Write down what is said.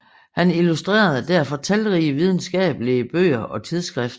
Han illustrerede derfor talrige videnskabelige bøger og tidsskrifter